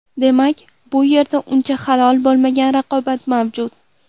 Demak, bu yerda uncha halol bo‘lmagan raqobat mavjud!